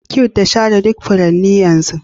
Cute da share duk furanni yanzu